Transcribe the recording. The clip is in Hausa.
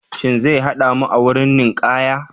Shin zai hada mu a wurin ninkaya?